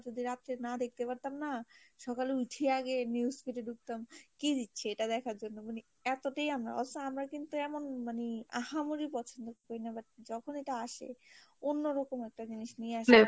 যদি রাত্রে না দেখতে পারতাম না সকালে উঠিয়া আগে news feed ঢুকতাম, কি দিচ্ছে এটা দেখার জন্য মানে এতটাই অবশ্য আমার কিন্তু এমন মানে আহামরি পছন্দ করি না but যখন এটা আসে অন্যরকম একটা জিনিস নিয়ে আসলে